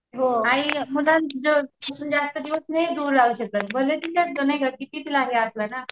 हो आई मुलांपासून जास्त दिवस दूर नाही राहू शकत